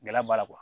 Gɛlɛya b'a la